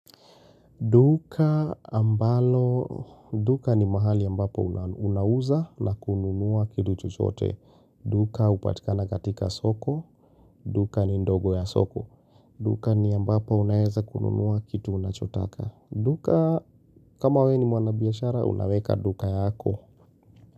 Duka ambalo, duka ni mahali ambapo unauza na kununua kitu chochote. Duka hupatikana katika soko, duka ni ndogo ya soko. Duka ni ambapo unaeza kununua kitu unachotaka. Duka, kama we ni mwanabiashara, unaweka duka yako.